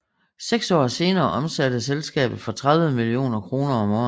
Seks år senere omsatte selskabet for 30 millioner kroner om året